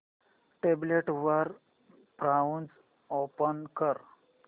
tablet वर browser open कर